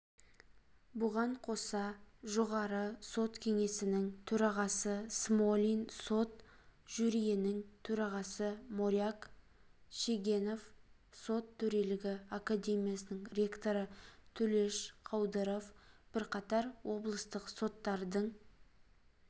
бұған қоса жоғары сот кеңесінің төрағасы смолин сот жюриінің төрағасы моряк шегенов сот төрелігі академиясының ректоры төлеш қаудыров бірқатар облыстық соттардың